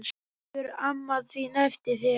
Bíður amma þín eftir þér?